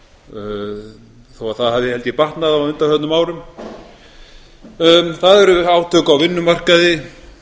þó að það hafi held ég batnað á undanförnum árum það eru átök á vinnumarkaði